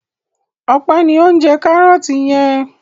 Ọpẹ́ ni ó ń jẹ kárọ́tì yẹn.